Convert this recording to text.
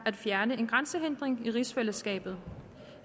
fjerner en grænsehindring i rigsfællesskabet